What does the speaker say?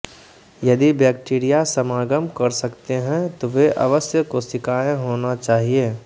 यदि बैक्टीरिया समागम कर सकते हैं तो वे अवश्य कोशिकाएं होना चाहिए